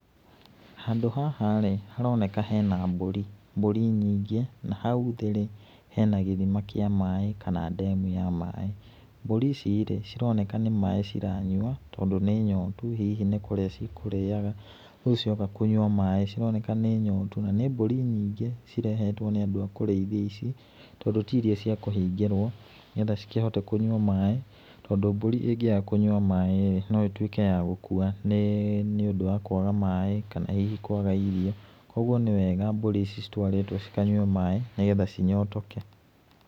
Handũ haharĩ, haroneka hena mbũri. Mbũri nyingĩ na hau thĩĩrĩ hena gĩthima kĩa maĩĩ kana dam ya maĩĩ. Mbũri icirĩ, cironeka nĩ maĩĩ ciranyua tondũ nĩ nyotu, hihi nĩ kũrĩa cikurĩaga rĩũ cioka kũnyua maĩĩ. Cironeka nĩ nyotu na nĩ mbũri nyingĩ cirehetwo nĩ andũ a kũrĩithia ici tondũ tiiria cia kũhingĩrwo nĩgetha cikĩhote kũnyua maĩĩ tondũ mbũri ĩngĩaga kũnyua maĩĩrĩ noitwĩke ya gũkua nĩĩ nĩũndu wa kwaga maĩĩ kana hihi kwaga irio, kwoguo nĩ wega mbũri ici citwarĩtwo kũnywa maĩĩ nĩgetha cinyotoke.